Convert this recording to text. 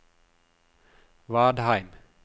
Vadheim